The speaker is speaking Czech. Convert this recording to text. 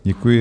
Děkuji.